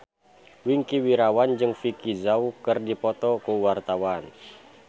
Wingky Wiryawan jeung Vicki Zao keur dipoto ku wartawan